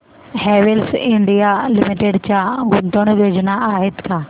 Havells India limited च्या गुंतवणूक योजना आहेत का